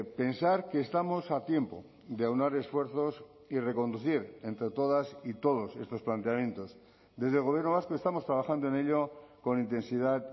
pensar que estamos a tiempo de aunar esfuerzos y reconducir entre todas y todos estos planteamientos desde el gobierno vasco estamos trabajando en ello con intensidad